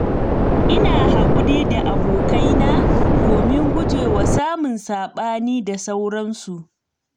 Ina haƙuri da abokaina domin guje wa samun saɓani da sauransu.